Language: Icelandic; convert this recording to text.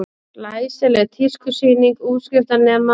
Glæsileg tískusýning útskriftarnema